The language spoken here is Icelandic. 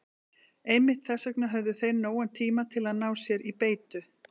Einmitt þess vegna höfðu þeir nógan tíma til að ná sér í beitu.